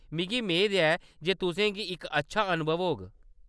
मिगी मेद ऐ जे तुसेंगी इक अच्छा अनुभव होग।